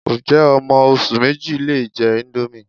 Ǹjẹ́ ọmọ oṣù méjì lè jẹ índómì